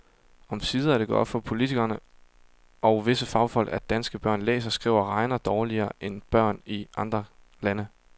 Omsider er det gået op for politikere og visse fagfolk, at danske børn læser, skriver og regner dårligere end børn i andre lande.